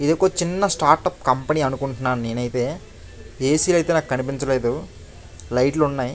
ఇదొక్క చిన్న startup company అనుకుంటున్నాను నేను అయితే ఏసీ లు అయితే నాకు కనిపించట్లేదు. లైట్లు ఉన్నాయి.